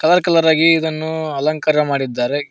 Colour colour ಆಗಿ ಇದನ್ನು ಅಲಂಕಾರ ಮಾಡಿದ್ದಾರೆ.